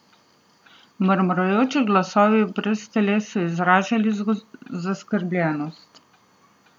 Mrmrajoči glasovi brez teles so izražali zaskrbljenost.